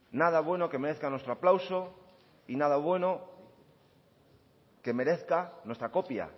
nada bueno que merezca nuestro aplauso y nada bueno que merezca nuestra copia